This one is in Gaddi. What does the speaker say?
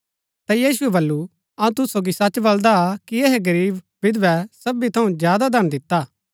ता यीशुऐ वलु अऊँ तुसू सोगी सच बलदा कि ऐहै गरीब विधवै सबी थऊँ ज्यादा दान दिता हा